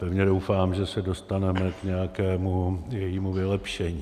Pevně doufám, že se dostaneme k nějakému jejímu vylepšení.